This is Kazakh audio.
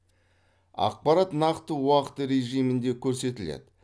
ақпарат нақты уақыт режимінде көрсетіледі